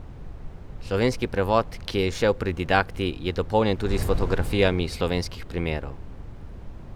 Slovenski prevod, ki je izšel pri Didakti, je dopolnjen tudi s fotografijami slovenskih primerov.